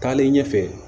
Taalen ɲɛfɛ